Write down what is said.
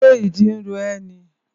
Ṣé ìdí ro ẹ́ ni?